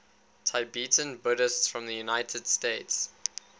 tibetan buddhists from the united states